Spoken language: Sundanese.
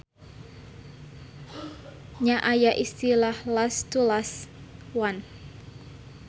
Nya aya istilah last two-last one.